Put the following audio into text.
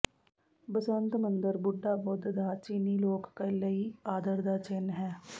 ਬਸੰਤ ਮੰਦਰ ਬੁੱਢਾ ਬੁੱਧ ਦਾ ਚੀਨੀ ਲੋਕ ਲਈ ਆਦਰ ਦਾ ਚਿੰਨ੍ਹ ਹੈ